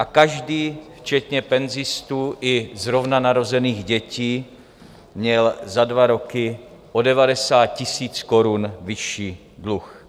A každý včetně penzistů i zrovna narozených dětí měl za dva roky o 90 tisíc korun vyšší dluh.